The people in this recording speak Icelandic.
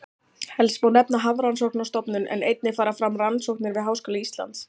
Helst má nefna Hafrannsóknastofnun en einnig fara fram rannsóknir við Háskóla Íslands.